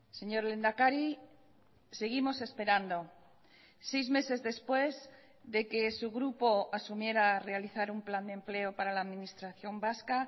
señor lehendakari seguimos esperando seis meses después de que su grupo asumiera realizar un plan de empleo para la administración vasca